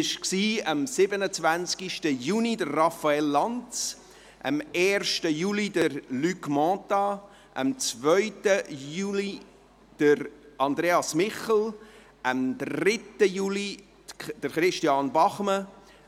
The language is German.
Dies waren am 27. Juni Raphael Lanz, am 1. Juli Luc Mentha, am 2. Juli Andreas Michel, am 3. Juli Christian Bachmann,